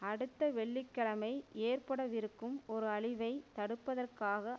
அடுத்த வெள்ளி கிழமை ஏற்படவிருக்கும் ஒரு அழிவை தடுப்பதற்காக